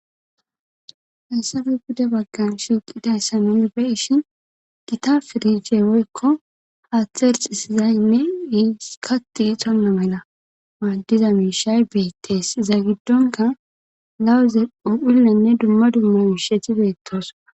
hessafe buda baggan shiiqidayssamen be ishin gita firiche woykko haaththe erxisizaynne iiskati xonna mela maaddiza miishay beettees iza giddonka lawuze ophillenne dumma dumma miisheti beettos